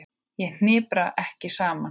Ég hnipra mig ekki saman.